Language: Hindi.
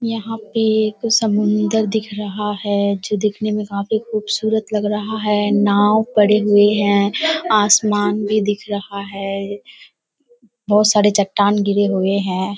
यहाँ पे एक समुन्दर दिख रहा है जो दिखने में काफी खूबसूरत लग रहा है। नाव पड़े हुए हैं आसमान भी दिख रहा है बहोत सारे चट्टान गिरे हुए हैं।